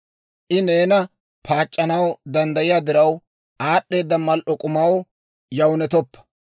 I neena paac'c'anaw danddayiyaa diraw, aad'd'eeda mal"o k'umaw yawunettoppa.